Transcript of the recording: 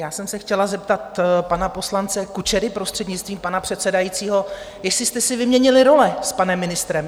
Já jsem se chtěla zeptat pana poslance Kučery, prostřednictvím pana předsedajícího, jestli jste si vyměnili role s panem ministrem.